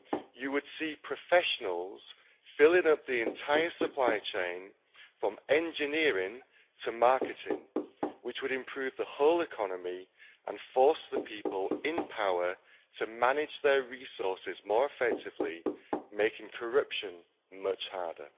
You would see professionals filling up the entire supply chain from engineering to marketing, which would improve the whole economy and force the people in power to manage their resources more effectively, making corruption much harder.